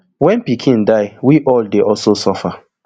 when pikin die we all dey also suffer